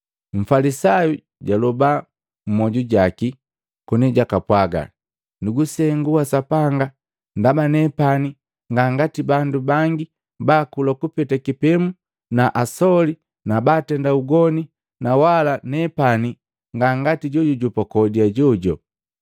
Mfalisayu, jaloba mmoju jaki koni jakapwaga, ‘Nugusengu wa Sapanga, ndaba nepani nga ngati bandu bangi baakula kupeta kipemu na asoli na baatenda ugoni na wala nepani nga ngati jojujopa kode ajojo.